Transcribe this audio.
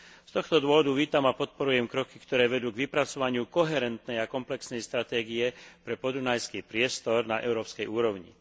Z tohto dôvodu vítam a podporujem kroky, ktoré vedú k vypracovaniu koherentnej a komplexnej stratégie pre podunajský priestor na európskej úrovni.